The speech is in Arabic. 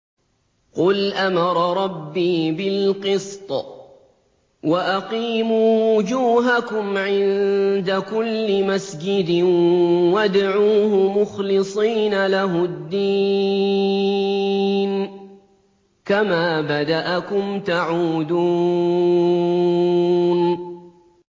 قُلْ أَمَرَ رَبِّي بِالْقِسْطِ ۖ وَأَقِيمُوا وُجُوهَكُمْ عِندَ كُلِّ مَسْجِدٍ وَادْعُوهُ مُخْلِصِينَ لَهُ الدِّينَ ۚ كَمَا بَدَأَكُمْ تَعُودُونَ